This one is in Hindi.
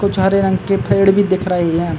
कुछ हरे रंग के फेड़ पर दिख रहे हैं।